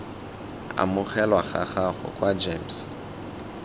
amogelwa ga gago kwa gems